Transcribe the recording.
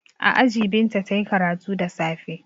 A aji Binta ta yi karatu da safe.